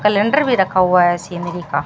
Calendar भी रखा हुआ है सीनरी का।